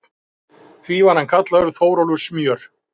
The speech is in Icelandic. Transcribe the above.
Því var hann kallaður Þórólfur smjör.